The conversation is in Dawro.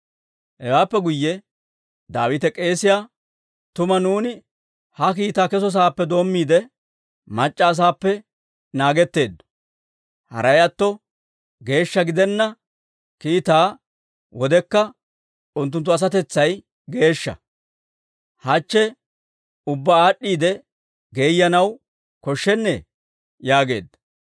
Hewaappe guyye Daawite k'eesiyaa, «Tuma nuuni ha kiitaw keso saappe doommiide, mac'c'a asaappe naagetteeddo; haray atto geeshsha gidenna kiitaa wodekka unttunttu asatetsay geeshsha; hachche ubbaa aad'd'iide geeyanaw koshshennee!» yaageedda.